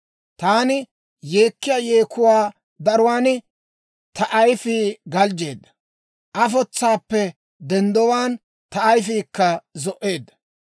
Taani yeekkiyaa yeekuwaa daruwaan ta ayfii galjjeedda; afotsaappe denddowaan ta ayifiikka zo"eedda.